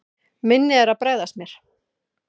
Minnið er að bregðast mér.